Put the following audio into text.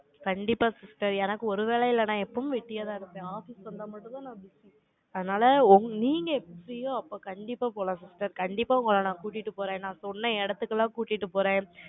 கண்டிப்பா, sister. எனக்கு, ஒருவேளை இல்லைன்னா, எப்பவும் வெட்டியாதான் இருப்பேன். office வந்தா மட்டும்தான், நான் அதனால, நீங்க எப்படியோ, அப்ப கண்டிப்பா போலாம் sister கண்டிப்பா, உங்களை நான் கூட்டிட்டு போறேன். நான் சொன்ன இடத்துக்கெல்லாம், கூட்டிட்டு போறேன்.